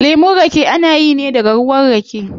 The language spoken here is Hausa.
Lemun rake ana yi ne daga ruwa rake